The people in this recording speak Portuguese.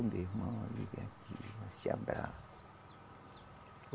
Meu irmão. Se abraça.